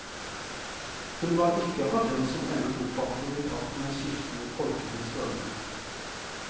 Han var ikke av dem som endret oppfatning i takt med skiftende folkelige strømninger.